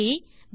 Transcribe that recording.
ட்